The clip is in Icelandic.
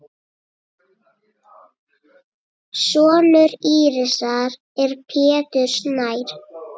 Sonur Írisar er Pétur Snær.